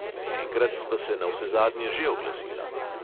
Enkrat sta se navsezadnje že oglasila.